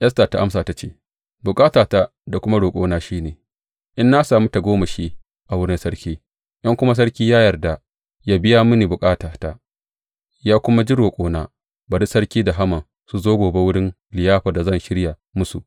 Esta ta amsa ta ce, Bukatata da kuma roƙona shi ne, in na sami tagomashi a wurin sarki, in kuma sarki ya yarda yă biya mini bukatata, yă kuma ji roƙona, bari sarki da Haman su zo gobe wurin liyafar da zan shirya musu.